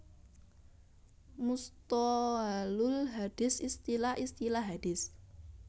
Musthohalul hadits Istilah istilah hadits